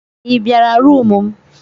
I bịara rumụ m.